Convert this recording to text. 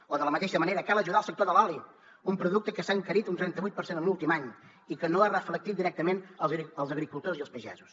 o de la mateixa manera cal ajudar el sector de l’oli un producte que s’ha encarit un trenta vuit per cent en l’últim any i que no ho ha reflectit directament als agricultors i als pagesos